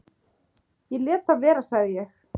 """Ég léti það vera, sagði ég."""